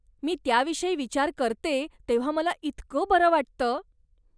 मी त्याविषयी विचार करते तेव्हा मला इतकं बरं वाटतं!